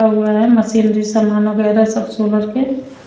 machinery सामान वगैरह सब सोलर के --